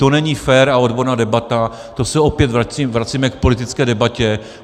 To není fér a odborná debata - to se opět vracíme k politické debatě.